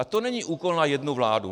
A to není úkol na jednu vládu.